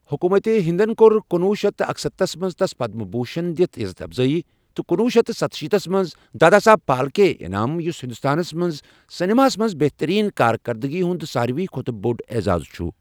حکومت ہندن کوٚر کنوُہ شیٚتھ تہٕ اکستتھس منٛز تس پدم بھوشن دِتھ یزتھ افضٲیی تہٕ کنوُہ شیٚتھ ستشیٖتس منٛز دادا صاحب پھالکے انعام، یُس ہندوستانس منٛز سنیماہس منز بہتریٖن کارکردٕگی ہُنٛد سارۍوٕے کھوتہٕ بوٚڑ اعزاز چھُ ۔